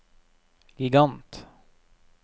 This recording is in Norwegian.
gigant